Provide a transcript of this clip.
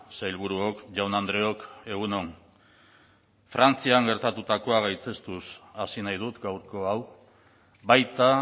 sailburuok jaun andreok egunon frantzian gertatutakoa gaitzestuz hasi nahi dut gaurko hau baita